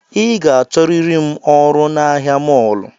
I ga achọriri ọrụ na ahịa mọlụ